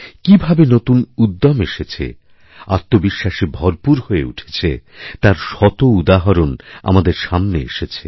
কীভাবেনতুন উদ্যম এসেছে আত্মবিশ্বাসে ভরপুর হয়ে উঠেছে তার একটি উদাহরণ আমাদের সামনেআসবে